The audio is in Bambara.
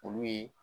Olu ye